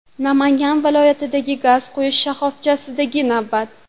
Namangan viloyatidagi gaz quyish shoxobchasidagi navbat.